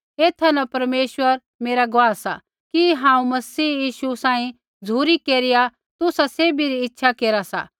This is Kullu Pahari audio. एथा न परमेश्वर मेरा गुआह सा कि हांऊँ मसीह यीशु सांही झ़ुरी केरिया तुसा सैभी री इच्छा केरा सा